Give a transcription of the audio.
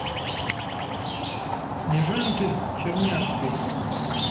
снежанке чернявской